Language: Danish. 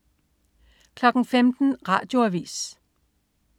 15.00 Radioavis